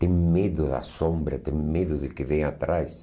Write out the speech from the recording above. Têm medo da sombra, têm medo do que vem atrás.